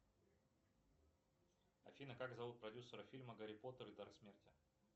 афина как зовут продюсера фильма гарри поттер и дары смерти